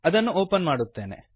ಅದನ್ನು ಒಪನ್ ಮಾಡುತ್ತೇನೆ